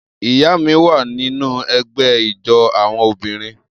Iya mi wa ninu ẹgbẹ ijó awọn obinrin.